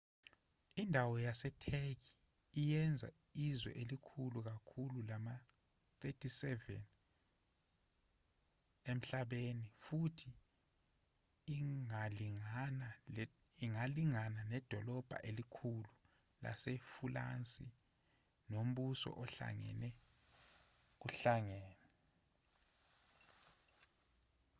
indawo yasetheki iyenza izwe elikhulu kakhulu lama-37 emhlabeni futhi ingalingana nedolobha elikhulu lasefulansi nombuso ohlangene kuhlangene